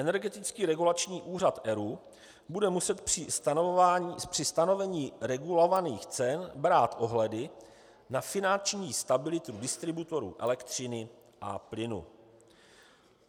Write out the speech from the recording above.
Energetický regulační úřad ERÚ bude muset při stanovení regulovaných cen brát ohledy na finanční stabilitu distributorů elektřiny a plynu.